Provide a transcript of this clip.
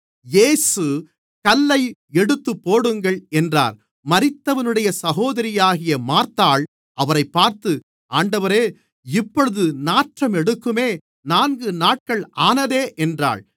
இயேசு கல்லை எடுத்து போடுங்கள் என்றார் மரித்தவனுடைய சகோதரியாகிய மார்த்தாள் அவரைப் பார்த்து ஆண்டவரே இப்பொழுது நாற்றம் எடுக்குமே நான்கு நாட்கள் ஆனதே என்றாள்